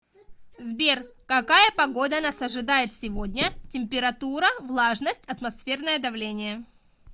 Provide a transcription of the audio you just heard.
сбер какая погода нас ожидает сегодня температура влажность атмосферное давление